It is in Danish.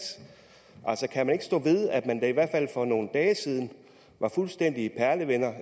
kan man ikke stå ved at man da i hvert fald for nogle dage siden var fuldstændig perlevenner